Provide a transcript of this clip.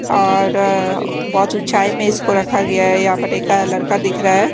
और बहोत उचाई में इसको रखा गया है यहा पर एक लड़का दिख रा है।